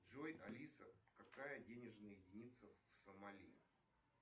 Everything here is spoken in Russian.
джой алиса какая денежная единица в сомали